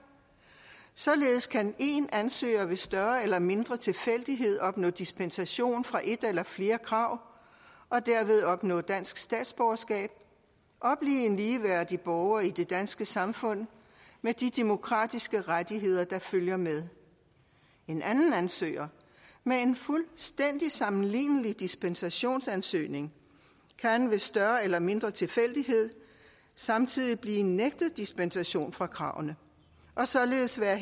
således kan en ansøger ved større eller mindre tilfældighed opnå dispensation fra et eller flere krav og derved opnå dansk statsborgerskab og blive en ligeværdig borger i det danske samfund med de demokratiske rettigheder der følger med en anden ansøger med en fuldstændig sammenlignelig dispensationsansøgning kan ved større eller mindre tilfældighed samtidig blive nægtet dispensation fra kravene og således være